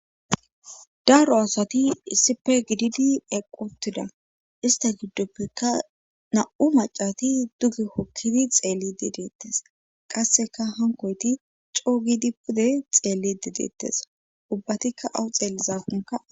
daaro asati issipe gididi eqotida ista giddoppeka na7u macati duge hokkidi xeelli dideettes qasseka hankoyti coo gidi pude xeelli dideettes ubbatikka awu xeellizafunka